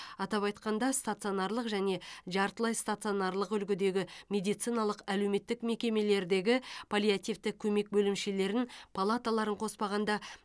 атап айтқанда стационарлық және жартылай стационарлық үлгідегі медициналық әлеуметтік мекемелердегі паллиативтік көмек бөлімшелерін палаталарын қоспағанда